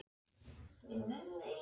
Það var samt allt í lagi með hann.